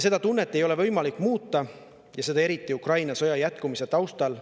Seda tunnet ei ole võimalik muuta ja seda eriti Ukraina sõja jätkumise taustal.